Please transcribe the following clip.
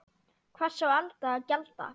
Hvers á Alda að gjalda?